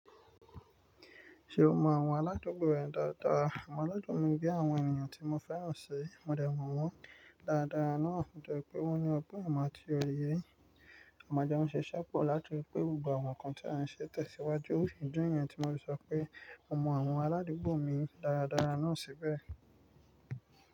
Ṣe o mọ àwọn aládùúgbò rẹ dáadáa? Àwọn aládùúgbò mi bi àwọn ènìyàn tí mo fẹ́ràn sí, mo dẹ̀ mọ̀ wọ́n dáadáa náà to jẹ pé wọ́n ní ọ̀pọ̀ ìmọ̀ àti òye. A máa jo un ṣíṣẹ́pò láti ri pẹ́ gbogbo àwọn nǹkan tí a n ṣe tẹ̀síwájú. Ó sì jẹ́ ẹ̀yin tí mo ti sọ pé mo mọ àwọn aládùúgbò mi dáadáa náà síbẹ̀